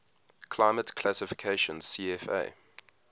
climate classification cfa